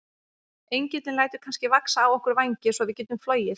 Engillinn lætur kannski vaxa á okkur vængi svo við getum flogið?